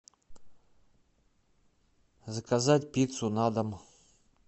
заказать пиццу на дом